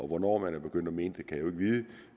hvornår man er begyndt at mene det kan vide